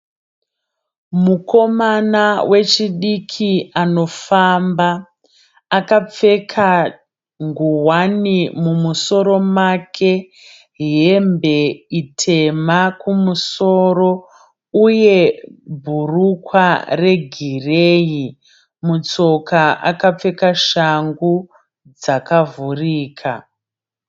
Mukomana wechidiki anofamba akapfeka ngowani mumusoro make hembe itema kumusoro uye bhurukwa regireyi mutsoka akapfeka shangu dzakavhurika.